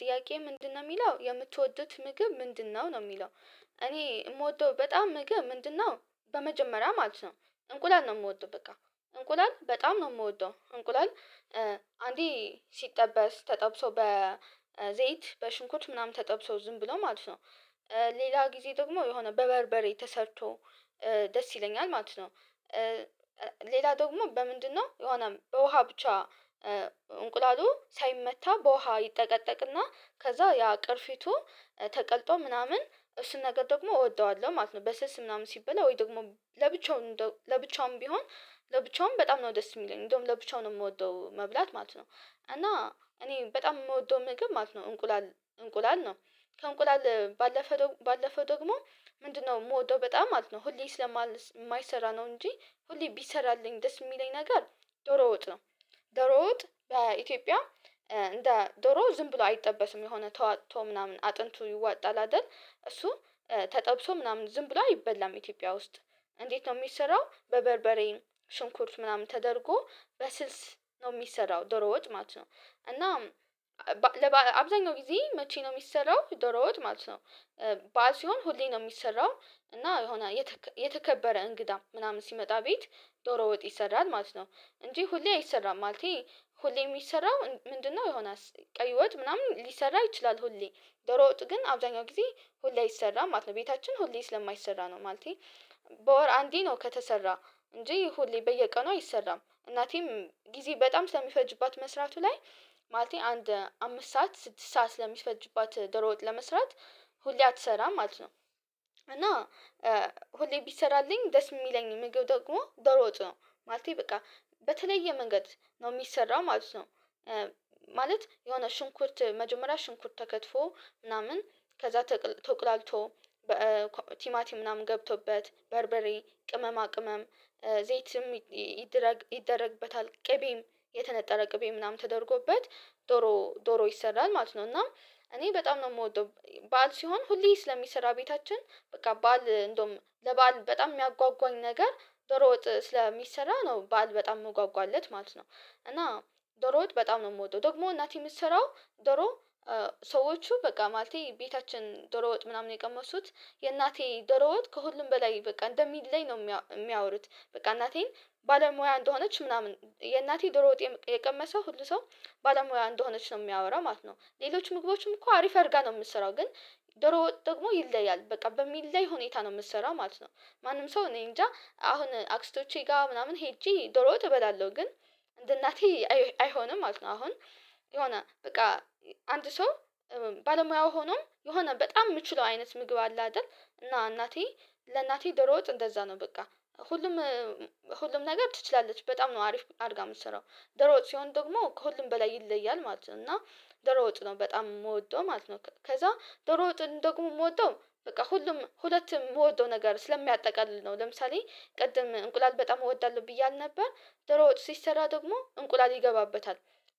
ጥያቄ ምንድነው የሚለው የምትወዱት ምግብ ምንድነው? ነው የሚለው። እኔ የምወደው በጣም ምግብ ምንድነው በመጀመሪያ ማለት ነው እንቁላል ነው የምወደው በቃ። እንቁላል በጣም ነው የምወደው። እንቁላል አንዴ ሲጠበስ፣ ተጠብሶ በዘይት፣ በሽንኩት ምናምን ተጠብሶ ዝም ብለው ማለት ነው፣ ሌላ ጊዜ ደግሞ የሆነ በበርበሬ ተሰርቶ ደስ ይለኛል ማለት ነው። ሌላ ደግሞ በምንድነው? የሆነ ውሃ ብቻ ሳይመታ በውሃ ይጠቀጠቅና ከዛ ያ ቅርፊቱ ተቀልጦ ምናምን እሱን ነገር ደግሞ እወደዋለሁ ማለት ነው። በስልስ ምናምን ሲበላ፤ ወይ ደግሞ ለብቻው እንደውም፣ ለብቻውም ቢሆን፣ ለብቻውም በጣም ነው ደስ የሚለኝ። እንደውም ለብቻውን ነው የምወደው መብላት ማለት ነው። እና እኔ በጣም የምወደው ምግብ ማለት ነው እንቁላል፣ እንቁላል ነው። ከእንቁላል ባለፈ ደግሞ፣ ባለፈ ደግሞ ምንድነው የምወደው በጣም ማለት ነው፣ ሁሌ ስለማል ማይሰራ ነው እንጂ፣ ሁሌ ቢሰራልኝ ደስ የሚለኝ ነገር ዶሮ ወጥ ነው። ዶሮ ወጥ በኢትዮጵያ እንደ ዶሮ ዝም ብሎ አይጠበትም። የሆነ ተዋጥቶ ምናምን፣ አጥንቱ ይዋጣል አይደል? እሱ ተጠብሶ ምናምን ዝም ብሎ አይበላም ኢትዮጵያ ውስጥ። እንዴት ነው የሚሰራው? በበርበሬ፣ ሽንኩርት ምናምን ተደርጎ በስልስ ነው የሚሰራው ዶሮ ወጥ ማለት ነው። እና ለበአል አብዛኛው ጊዜ መቼ ነው የሚሰራው ዶሮ ወጥ ማለት ነው? በዓል ሲሆን ሁሌ ነው የሚሰራው፣ እና የሆነ የተከበረ እንግዳ ምናምን ሲመጣ ቤት ዶሮ ወጥ ይሰራል ማለት ነው። እንጂ ሁሌ አይሰራም ማለቴ ሁሌ የሚሰራው ምንድነው የሆነ፣ ቀይ ወጥ ምናምን ሊሰራ ይችላል ሁሌ፣ ዶሮ ወጥ ግን አብዛኛው ጊዜ ሁሌ ይሰራ ማለት ነው። ቤታችን ሁሌ ስለማይሰራ ነው። ማለቴ በወር አንዴ ነው ከተሰራ፤ እንጂ ይሁሌ በየቀኑ አይሰራም። እናቴም ጊዜ በጣም ስለሚፈጅባት መስራቱ ላይ ማለቴ አንድ አምስት ሰዓት፣ ስድስት ሰዓት ስለሚፈጅባት ደርወጥ ለመስራት ሁሌ አትሰራም ማለት ነው። እና ሁሌ ቢሰራልኝ ደስ የሚለኝ ምግብ ደግሞ ደሮ ወጥ ነው። ማለቴ በቃ በተለየ መንገድ ነው የሚሰራው ማለት ነው። ማለት የሆነ ሽንኩርት፣ መጀመሪያ ሽንኩርት ተከትፎ ምናምን፣ ከዛ ተቁላልቶ በቲማቲ ምናምን ገብቶበት፣ በርበሬ፣ ቅመማ ቅመም፣ ዘይትም ይደረግ ይደረግበታል፣ ቅቤም፣ የተነጠረ ቅቤ ምናምን ተደርጎበት፣ ዶሮ፤ ዶሮ ይሰራል ማለት ነው። እና እኔ በጣም ነው የምወደው። በዓል ሲሆን ሁሌ ስለሚሰራ ቤታችን በቃ ባል እንደውም ለበአል በጣም የሚያጓጓኝ ነገር ዶሮ ወጥ ስለሚሰራ ነው በዓል በጣም መጓጓለት ማለት ነው። እና ዶሮ ወጥ በጣም ነው የምወደው። ደግሞ እናቴ የምትሰራው ዶሮ ሰዎቹ፣ በቃ ማለቴ ቤታችን ደሮ ወጥ ምናምን የቀመሱት የእናቴ ደሮ ወጥ ከሁሉም በላይ በቃ እንደሚለኝ ነው የሚያወሩት። በቃ እናቴን ባለሙያ እንደሆነች ምናምን፣ የእናቴ ድሮ ወጥ የቀመሰ ሁሉ ሰው ባለሙያ እንደሆነች ነው የሚያወራው ማለት ነው። ሌሎች ምግቦችም እኮ አሪፍ አድርጋ ነው የምትሰራው ግን ወጥ ደግሞ ይለያል። በቃ በሚለይ ሁኔታ ነው የምትሰራው ማለት ነው። ማንም ሰው እኔ እንጃ አሁን አክስቶቼ ጋር ምናምን ሄጄ ዶሮ እበላለሁ። ግን እንደ እናቴ አይሆንም ማለት ነው አሁን የሆነ በቃ አንድ ሰው ባለሙያው ሆኖም የሆነ በጣም የምችለው አይነት ምግብ አለ አይደል? እና እናቴ ለእናቴ ዶሮ ወጥ እንደዛ ነው በቃ። ሁሉም፣ ሁሉም ነገር ትችላለች በጣም ነው አሪፍ አድርጋ የምትሰራው። ዶሮ ወጥ ሲሆን ደግሞ ከሁሉም በላይ ይለያል ማለት ነው። እና ዶሮ ወጥ ነው በጣም የምወደው ማለት ነው። ከዛ ዶሮ ወጥ ደግሞ የምወደው በቃ ሁሉም፣ ሁለት የምወደው ነገር ስለሚያጠቃልል ነው። ለምሳሌ ቅድም እንቁላል በጣም እወዳለሁ ብዬ አልነበር? ዶሮ ወጥ ሲሰራ ደግሞ እንቁላል ይገባበታል፣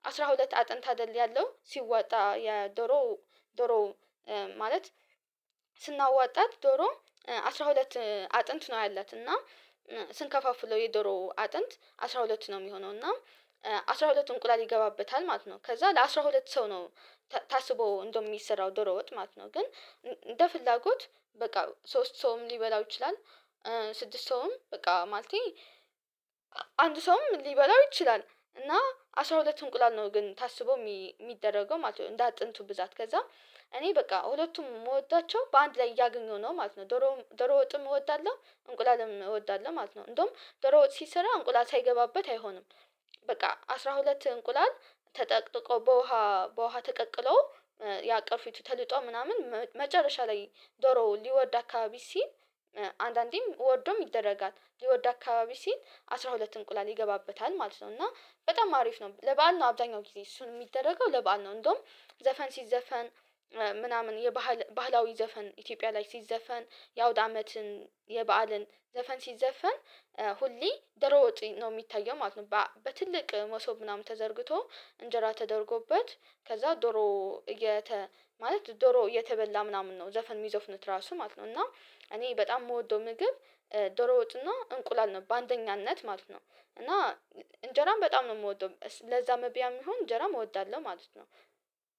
አስራ ሁለት አጥንት አይደል ያለው ሲወጣ የዶሮ ዶሮ ማለት ስናዋጣት ዶሮ አስራ ሁለት አጥንት ነው ያላት። እና ስንከፋፍለው የዶሮ አጥንት አስራ ሁለት ነው የሚሆነው እና አስራ ሁለት እንቁላል ይገባበታል ማለት ነው። ከዛ ለአስራ ለአስራ ሁለት ሰው ነው ታስቦ እንደው የሚሰራው ዶሮ ወጥ ማለት ነው። ግን እንደ ፍላጎት በቃ ሶስት ሰውም ሊበላው ይችላል፤ ስድስት ሰውም፣ በቃ ማለቴ አንድ ሰውም ሊበላው ይችላል። እና አስራ ሁለት እንቁላል ነው ግን ታስቦ የሚደረገው ማለት ነው። እንደ አጥንቱ ብዛት ከዛ እኔ በቃ ሁለቱም የምወዳቸው በአንድ ላይ እያገኘሁ ነው ማለት ነው። ዶሮ፤ ዶሮ ወጥም እወዳለሁ እንቁላልም እወዳለሁ ማለት ነው። እንደውም ዶሮ ወጥ ሲሰራ እንቁላል ሳይገባበት አይሆንም። በቃ አስራ ሁለት እንቁላል ተጠቅጥቆ በውሃ፣ በውሃ ተቀቅሎ ያ ቅርፊቱ ተልጦ ምናምን፣ መጨረሻ ላይ ዶሮ ሊወድ አካባቢ ሲል፣ አንዳንዴም ወርዶም ይደረጋል። ሊወድ አካባቢ ሲል አስራ ሁለት እንቁላል ይገባበታል ማለት ነው። እና በጣም አሪፍ ነው። ለበአል ነው አብዛኛው ጊዜ እሱን የሚደረገው ለበአል ነው። እንደውም ዘፈን ሲዘፈን ምናምን የባህል፣ ባህላዊ ዘፈን ኢትዮጵያ ላይ ሲዘፈን የአውድ አመትን፣ የበአልን ዘፈን ሲዘፈን ሁሌ ዶሮ ወጥ ነው የሚታየው ማለት ነው። በትልቅ መሶብ ምናምን ተዘርግቶ፣ እንጀራ ተደርጎበት፣ ከዛ ዶሮ ማለት ዶሮ የተበላ ምናምን ነው ዘፈን የሚዞፍነው ራሱ ማለት ነው። እና እኔ በጣም የምወደው ምግብ ዶሮ ወጥና እንቁላል ነው በአንደኛነት ማለት ነው። እና እንጀራን በጣም ነው የምወደው። ለዛ መብያም ይሁን እንጀራም እወዳለሁ ማለት ነው።